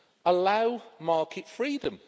Allow market freedom.